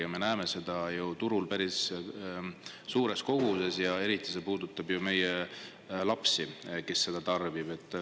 Ja me näeme seda ju turul päris suures koguses, eriti see puudutab ju meie lapsi, kes seda tarbib.